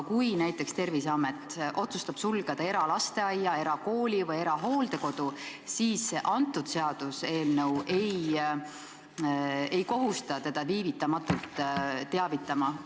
Kui Terviseamet otsustab sulgeda näiteks eralasteaia, erakooli või erahooldekodu, siis see seaduseelnõu ei kohusta teda viivitamatult teavitama.